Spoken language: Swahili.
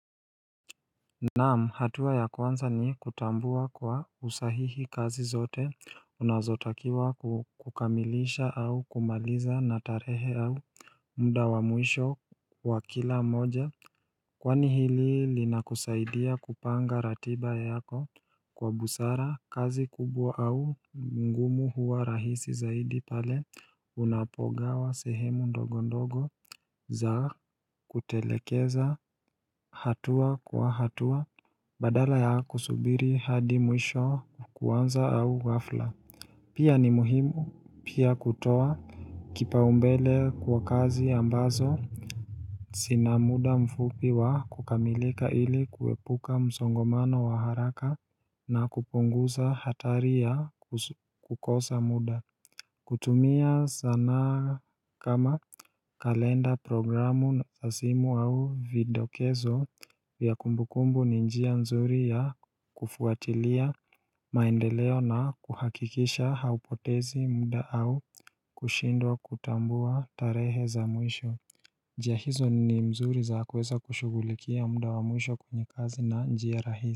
Naam, hatua ya kwanza ni kutambua kuwa kusahihi kazi zote unazotakiwa kukamilisha au kumaliza natarehe au muda wa mwisho wa kila moja Kwani hili linakusaidia kupanga ratiba yako kwa busara kazi kubwa au ngumu huwa rahisi zaidi pale unapogawa sehemu ndogo ndogo za kutelekeza hatua kwa hatua Badala ya kusubiri hadi mwisho wa kuanza au ghafla Pia ni muhimu kutoa kipaumbele kwa kazi ambazo zina muda mfupi wa kukamilika ili kuepuka msongamano wa haraka na kupunguza hatari ya kukosa muda kutumia sanaa kama kalenda programu za simu au vidokezo ya kumbukumbu ni njia nzuri ya kufuatilia maendeleo na kuhakikisha hupotezi muda au kushindwa kutambua tarehe za mwisho njia hizo ni nzuri za kuweza kushugulikia muda wa mwisho kwenye kazi na njia rahisi.